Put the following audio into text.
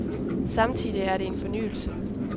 Samtidig er det en fornyelse.